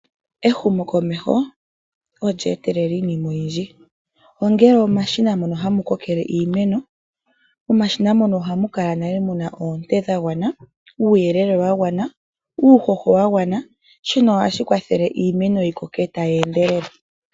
Ehumo komeho olye etelela iinima oyindji, ongele omashina moka hamu kokele iimeno. Momashina moka ohamu kala nale muna oonte dhagwana , uuyelele wagwana, uuhoho wagwana shika ohashi kwathele iimeno yikoke tayi endelele.